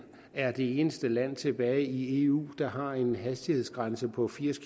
er det eneste land tilbage i eu der har en hastighedsgrænse på firs